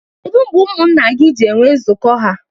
Kedụ mgbe ụmụnna gị ji enwe nzuko ya?